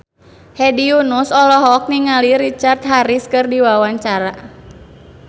Hedi Yunus olohok ningali Richard Harris keur diwawancara